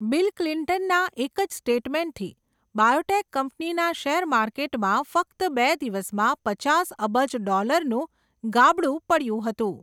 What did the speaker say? Bill ક્લિન્ટનનાં એક જ સ્ટેટમેન્ટથી, બાયોટેક કંપનીનાં શેર માર્કેટમાં ફક્ત બે દિવસમાં, પચાસ અબજ ડોલરનું ગાબડુ પડયું હતું.